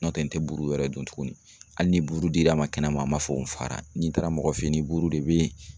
N'o tɛ n tɛ buru wɛrɛ dun tuguni hali ni buru dira n ma kɛnɛma n ma fɔ ko n fara ni taara mɔgɔ fɛ yen buru de bɛ yen